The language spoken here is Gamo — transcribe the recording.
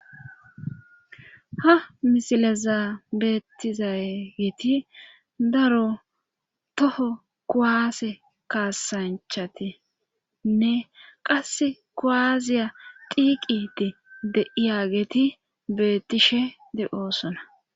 ha misileza beettizageeti daro toho kuwase kaasanchatinne qasse kuwaaziya diiqide deiya geti bettishe de7oosona